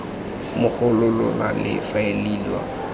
mo go lona le faeliwa